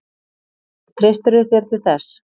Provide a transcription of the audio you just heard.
Treystirðu þér til þess?